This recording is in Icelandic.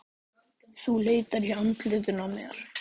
Steinbjörg, heyrðu í mér eftir sjötíu og tvær mínútur.